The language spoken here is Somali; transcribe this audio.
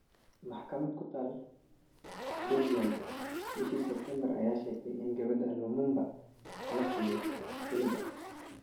Maxkamad ku taal Belgium, bishii Sebtembar, ayaa sheegtay in gabadha Lumumba la siiyo iliga.